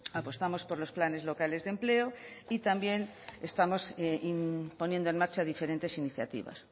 apostamos por los planes locales de empleo y también estamos poniendo en marcha diferentes iniciativas